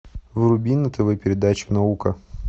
вруби на тв передачу наука